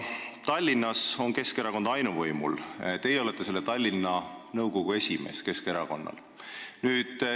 Tallinnas on Keskerakond ainuvõimul ja teie olete selle erakonna Tallinna nõukogu esimees.